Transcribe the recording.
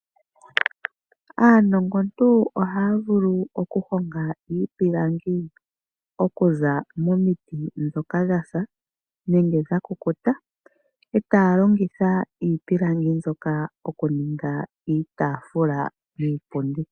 Aanongo ntu ohaya vulu oku honga iipilangi okuza momiti ndhoka dhasa nenge dha kukuta etaya longitha iipilangi mbyoka oku ninga iitafula niipundi.